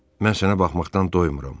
Mən sənə baxmaqdan doymuram.